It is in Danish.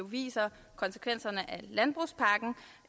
viser konsekvenserne